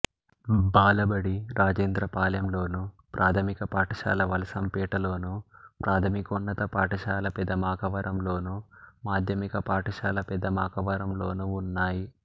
బాలబడి రాజేంద్రపాలెంలోను ప్రాథమిక పాఠశాల వలసంపేటలోను ప్రాథమికోన్నత పాఠశాల పెదమాకవరంలోను మాధ్యమిక పాఠశాల పెదదమాకవరంలోనూ ఉన్నాయి